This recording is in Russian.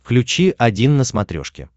включи один на смотрешке